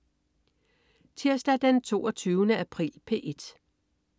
Tirsdag den 22. april - P1: